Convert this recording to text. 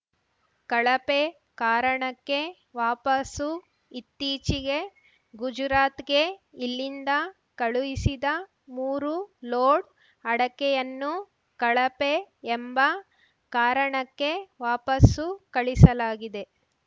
ಕಳಪೆ ಕಾರಣಕ್ಕೆ ವಾಪಸ್ಸು ಇತ್ತೀಚೆಗೆ ಗುಜುರಾತ್‌ಗೆ ಇಲ್ಲಿಂದ ಕಳುಹಿಸಿದ ಮೂರು ಲೋಡ್‌ ಅಡಕೆಯನ್ನು ಕಳಪೆ ಎಂಬ ಕಾರಣಕ್ಕೆ ವಾಪಸ್ಸು ಕಳುಹಿಸಲಾಗಿದೆ